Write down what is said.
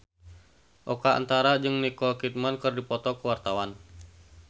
Oka Antara jeung Nicole Kidman keur dipoto ku wartawan